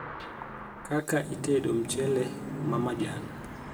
kaka itedo mchele ma majan